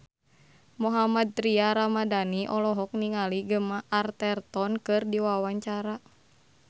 Mohammad Tria Ramadhani olohok ningali Gemma Arterton keur diwawancara